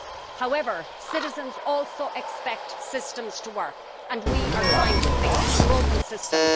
However, citizens also expect systems to work and we are trying to fix a broken system.